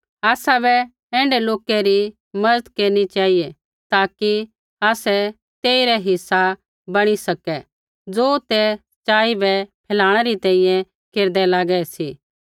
आसाबै ऐण्ढै लोका री मज़त केरनी चेहिऐ ताकि आसै तेइरा हिस्सा बणी सकै ज़ो ते सच़ाई बै फैलाणै री तैंईंयैं केरदै लागै सी